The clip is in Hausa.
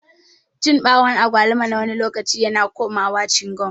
Cin bawun agwaluma nawani lokaci yana komawa cingam.